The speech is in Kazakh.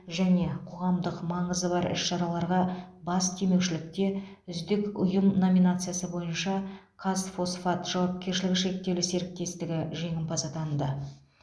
және қоғамдық маңызы бар іс шараларға бас демеушілікте үздік ұйым номинациясы бойынша қазфосфат жауапкершілігі шектеулі серіктестігі жеңімпаз атанды